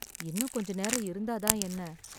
இன்னும் கொஞ்சம் நேரம் இருந்தாதான் என்ன?